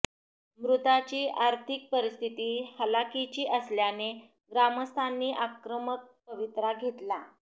मृतांची आर्थिक परिस्थिती हालाकीची असल्याने ग्रामस्थांनी आक्रमक पवित्रा घेतला